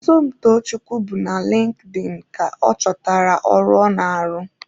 Somtochukwu bụ na Linkin ka ọ chọtara ọrụ ọ na-arụ.